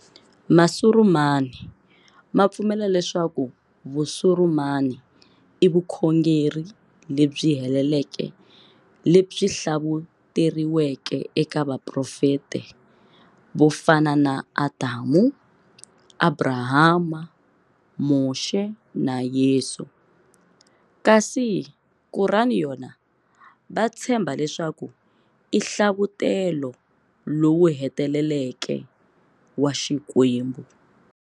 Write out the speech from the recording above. Masurumani ma pfumela leswaku Vusurumani i vukhongeri lebyi heleleke lebyi hlavuteriweke eka vaprofeta vo fana na Adamu, Abrahama, Moxe na Yesu. Kasi Kurani yona vatshemba leswaku i hlavutelo lowu heteleleke wa Xikwembu.